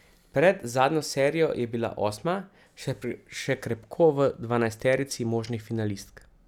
Pred zadnjo serijo je bila osma, še krepko v dvanajsterici možnih finalistk.